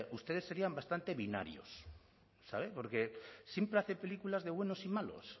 ustedes serían bastante binarios sabe porque siempre hace películas de buenos y malos